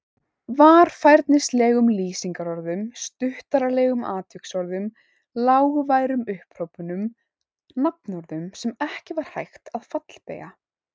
Varfærnislegum lýsingarorðum, stuttaralegum atviksorðum, lágværum upphrópunum, nafnorðum sem ekki var hægt að fallbeygja.